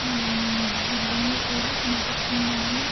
ఊఊఉ బిల్డింగులు కూడా కనిపిస్తున్నాయి.